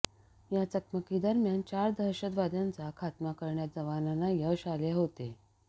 या चकमकीदरम्यान चार दहशतवाद्यांचा खात्मा करण्यात जवानांना यश आले होते